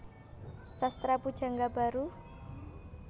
Sastra Pujangga Baru